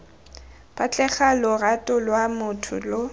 batlega lorato lwa motho lo